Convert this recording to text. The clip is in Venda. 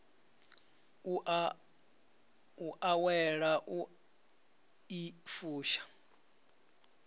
u awela u i fusha